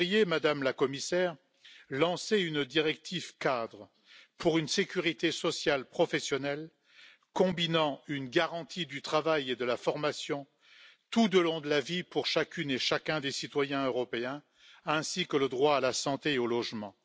Madame la Commissaire, vous devriez lancer une directive cadre pour une sécurité sociale professionnelle combinant une garantie du travail et de la formation tout au long de la vie pour chacune et chacun des citoyens européens ainsi que le droit à la santé et au logement.